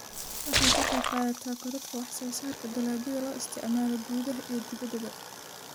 Waxay ka qaybqaadataa korodhka wax-soo-saarka dalagyada loo isticmaalo gudaha iyo dibaddaba.